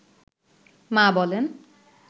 মা বলেন